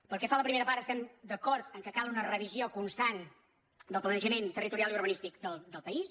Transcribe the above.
pel que fa a la primera part estem d’acord que cal una revisió constant del planejament territorial i urbanís·tic del país